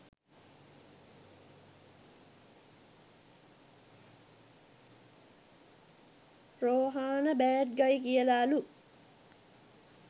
Rohana bad guy කියල ලු